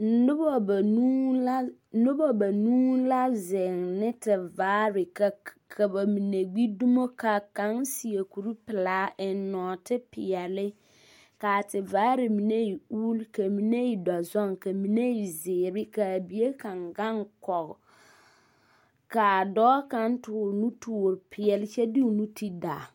Noba banuu la, noba banuu la zeŋ ne tevaare, ka ka ba mine gbi dumo ka kaŋ seԑ kure pelaa eŋ nͻͻte peԑle. Ka a tevaare mine e la uuli, ka mine e dͻzoŋe kaa mine e zeere ka a bie kaŋ gaŋ kͻge. Ka a dͻͻ kaŋ toore nutoore peԑle kyԑ de o nu ted aa.